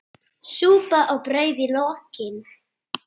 Súpa og brauð í lokin.